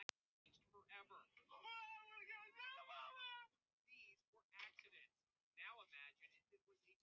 Eygló, hvernig er veðrið á morgun?